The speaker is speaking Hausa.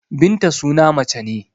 Binta suna mace ce.